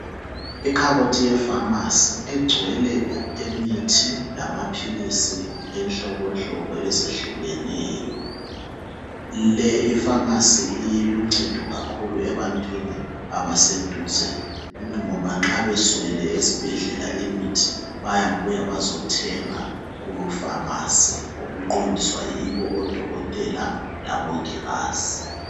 Ikhabothi yefamasi egcwele imithi lamapilisi inhlobohlobo ezehlukeneyo. Le ifamasi iluncedo kakhulu ebantwini abaseduze ngoba nxa beswele esibhedlela imithi bayabuya bazothenga kufamasi okuqondiswa yibo odokotela labongikazi.